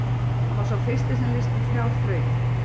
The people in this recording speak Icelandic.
Hann var sá fyrsti sem leysti þrjár þrautir.